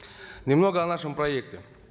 немного о нашем проекте